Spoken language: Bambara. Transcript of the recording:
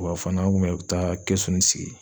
Wa fana n kun bɛ taa kɛsuni sigi